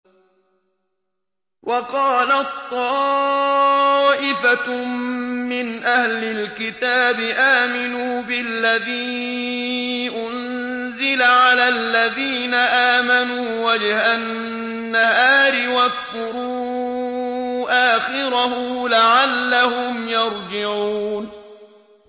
وَقَالَت طَّائِفَةٌ مِّنْ أَهْلِ الْكِتَابِ آمِنُوا بِالَّذِي أُنزِلَ عَلَى الَّذِينَ آمَنُوا وَجْهَ النَّهَارِ وَاكْفُرُوا آخِرَهُ لَعَلَّهُمْ يَرْجِعُونَ